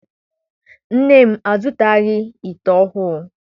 Nne m azụtaghi ite ọhụụ.